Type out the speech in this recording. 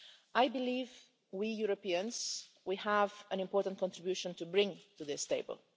I believe that we Europeans have an important contribution to bring to this table.